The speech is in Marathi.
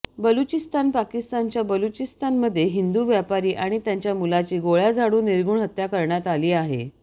बलुचिस्तान पाकिस्तानच्या बलुचिस्तानमध्ये हिंदू व्यापारी आणि त्यांच्या मुलाची गोळ्या झाडून निर्घुण हत्या करण्यात आली आहे